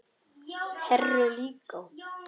Heru líka.